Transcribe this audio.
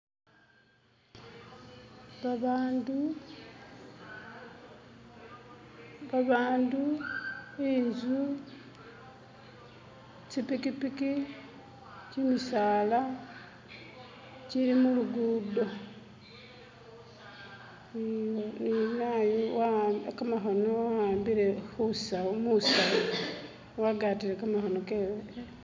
Ba bandu, ba bandu Inzu, tsi pikipiki, kyimisaala kyili mu lugudo ni nayu kamakhono wa'ambile khusawu musawu wagatile kamakhono kewe.